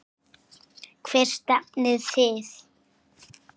Hvert stefnið þið?